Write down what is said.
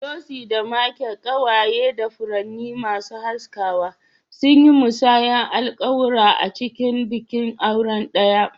Lucy da Michael, kewaye da furanni masu haskawa, sun yi musayar alƙawura a cikin bikin aure ɗaya.